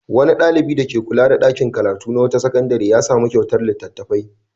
Wani ɗalibi dake kula da ɗakin karatu na wata sakandare ya sami kyautar littattafai.